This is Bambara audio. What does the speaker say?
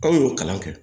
Anw y'o kalan kɛ